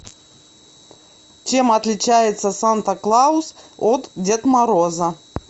чем отличается санта клаус от дед мороза